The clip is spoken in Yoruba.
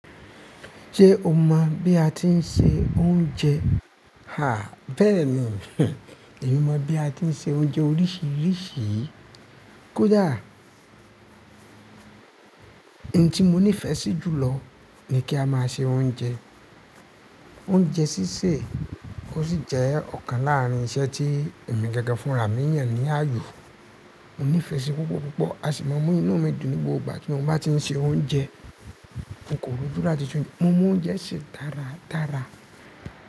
Jé o mọ̀ bí a ti ń se oúnjẹ? Háà bẹ́ẹ̀ni, hih. Èmi mọ bí a ti ń se oúnjẹ oríṣiríṣi. Kódà ohun tí mo nífẹsí jùlọ ni kí a máa ṣe oúnjẹ. Oúnjẹ sísè ò sì jẹ́ ọ̀kan láàrin iṣẹ́ tí èmi gangan fún rà mí yàn ní ààyò. Mo nífẹẹ síi púpọ̀ púpọ̀. A sì máa mú inú mi dùn nígbogbà tí mo bá ti ń se oúnjẹ. Mo koròju láti se o, mo mọ oúnjẹ sẹ́ dáradára.